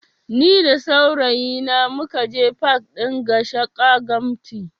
Ni da saurayi na mukaje pak ɗin Gashaka Gumti